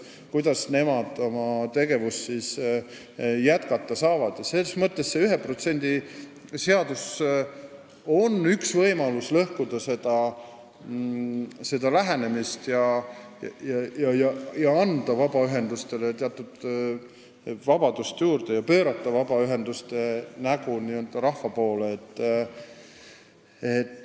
See 1% seadus on üks võimalus, kuidas lõhkuda seda lähenemist ja anda vabaühendustele vabadust juurde, pöörata vabaühenduste nägu rahva poole.